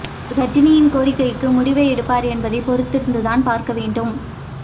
ரஜினியின் கோரிக்கைக்கு முடிவை எடுப்பார் என்பதை பொறுத்திருந்து தான் பார்க்க வேண்டும்